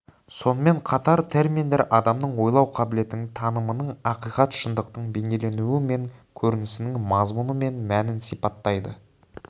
сонымен қатар терминдер адамның ойлау қабілетінің танымының ақиқат шындықтың бейнеленуі мен көрінісінің мазмұны мен мәнін сипаттайды